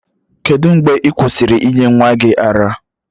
Kedụ mgbe ị kwụsịrị ịnye nwa gị ara?